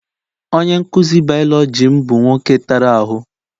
Onye nkuzi biology m bu nwoke tara ahụ.